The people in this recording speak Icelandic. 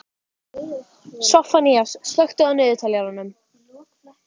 Soffanías, slökktu á niðurteljaranum.